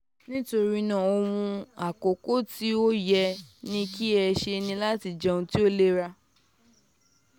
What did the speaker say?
nitorinaa ohun akọkọ ti o yẹ ki ẹ ṣe ni lati jẹ ounjẹ to ni ilera